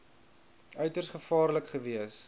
uiters gevaarlik gewees